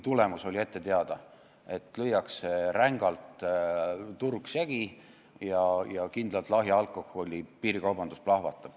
Tulemus aga oli ette teada: turg lüüakse rängalt segi ja lahja alkoholi piirikaubandus plahvatab.